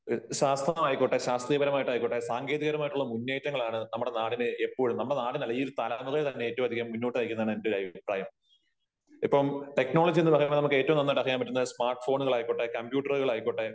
ശാസ്ത്രമായിക്കോട്ടെ ശാസ്ത്രീയപരമായിട്ട് ആയിക്കോട്ടെ സാങ്കേതിക പരമായിട്ടുള്ള മുന്നേറ്റങ്ങളാണ് നമ്മുടെ നാടിനെ എപ്പോഴും നമ്മുടെ നാടിനല്ല ഈ ഒരു തലമുറയെ തന്നെ ഏറ്റവും അതികം മുന്നോട്ട് നയിക്കുന്നതെന്ന് എന്റെ ഒരു അഭിപ്രായം . ഇപ്പം ടെക്നോളജി എന്ന് പറയുന്നത് നമുക്ക് ഏറ്റവും നന്നായിട്ട് അറിയാൻ പറ്റും സ്മാർട്ട് ഫോണുകളായിക്കോട്ടെ കമ്പ്യൂട്ടര് കളായിക്കോട്ടെ